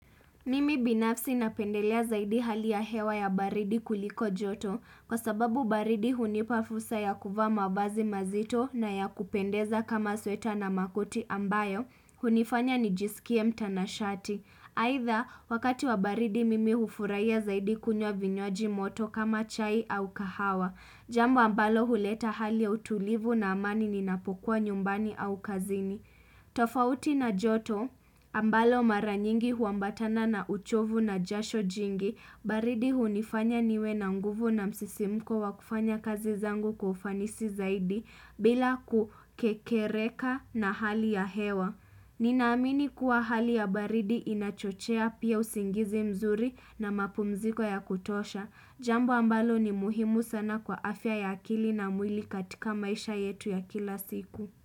Mimi binafsi napendelea zaidi hali ya hewa ya baridi kuliko joto kwa sababu baridi hunipa fursa ya kuvaa mavazi mazito na ya kupendeza kama sweta na makoti ambayo, hunifanya nijisikie mtanashati. Aidha wakati wa baridi mimi hufurahia zaidi kunywa vinywaji moto kama chai au kahawa, jambo ambalo huleta hali ya utulivu na amani ninapokua nyumbani au kazini. Tofauti na joto ambalo mara nyingi huambatana na uchovu na jasho jingi baridi hunifanya niwe na nguvu na msisimuko wa kufanya kazi zangu kwa ufanisi zaidi bila kukekereka na hali ya hewa Ninaamini kuwa hali ya baridi inachochea pia usingizi mzuri na mapumziko ya kutosha Jambo ambalo ni muhimu sana kwa afya ya akili na mwili katika maisha yetu ya kila siku.